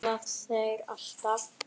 Verða það alltaf.